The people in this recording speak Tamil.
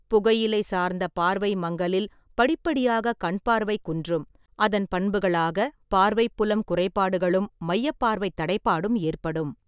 புகையிலை சார்ந்த பார்வை மங்கலில் படிப்படியாக கண்பார்வை குன்றும், அதன் பண்புகளாக பார்வைப் புலம் குறைபாடுகளும் மையப் பார்வைத் தடைபாடும் ஏற்படும்.